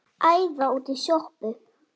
Æða út í sjoppu!